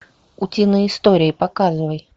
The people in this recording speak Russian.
утиные истории показывай